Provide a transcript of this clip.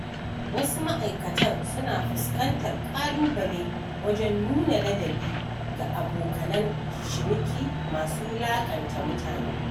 Wasu ma'aikatan suna fuskantar ƙalubale wajen nuna ladabi ga abokanan ciniki masu wulaƙanta mutane.